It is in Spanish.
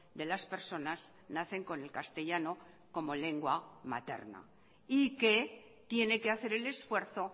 de las personas nacen con el castellano como lengua materna y que tiene que hacer el esfuerzo